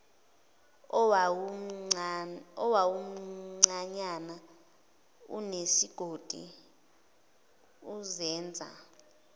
owawumncanyana unesigodi uzenza